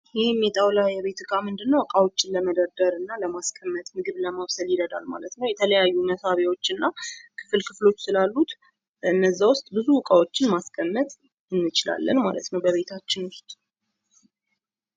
ይህም የጣዉላ የቤት እቃ ምንድነው እቃውችን ለመደርደር እና ለማስቀመጥ እንዲሁም ምግብ ለማብሰል ይረዳል ማለት ነው። የተለያዩ መሳቢያዎች እና ክፍል ክፍሎች ስላሉት እነዛ ዉስጥ ብዙ እቃዎችን ማስቀመጥ እንችላለን ማለት ነው በቤታችን ውስጥ።